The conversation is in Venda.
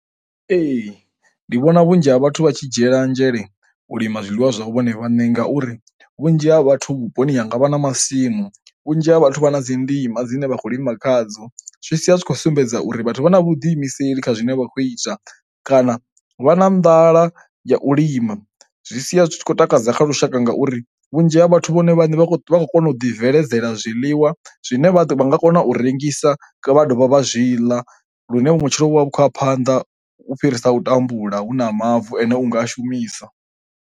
Ee, ndi vhona vhunzhi ha vhathu vha tshi dzhiela nzhele u lima zwiḽiwa zwa hu vhone vhaṋe ngauri vhunzhi ha vhathu vhuponi hanga vha na masimu vhunzhi ha vhathu vha na dzi ndima dzine vha khou lima khadzo. Zwi sia zwi tshi khou sumbedza uri vhathu vha na vhuḓiimiseli kha zwine vha kho ita kana vha na nḓala ya u lima. zwi sia zwi tshi khou takadza kha lushaka ngauri vhunzhi ha vhathu vhone vhane vha vha khou kona u ḓi bveledzela zwiḽiwa zwine vha nga kona u rengisa vha dovha vha zwi ḽa lune vhutshilo vhu vha vhu khou ya phanḓa u fhirisa u tambula hu na mavu ane unga a shumisa.